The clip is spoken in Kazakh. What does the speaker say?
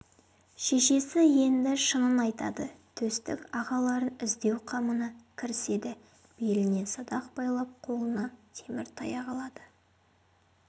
шешесі енді шынын айтады төстік ағаларын іздеу қамына кіріседі беліне садақ байлап қолына темір таяқ алады